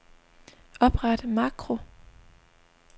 Opret makro.